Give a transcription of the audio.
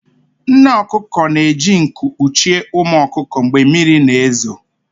Nne ọkụkọ na-eji nku kpuchie ụmụ ọkụkọ mgbe mmiri na-ezo